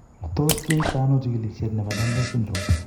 Tos kiyai to ano chigilisiet nebo Danlos syndrome ?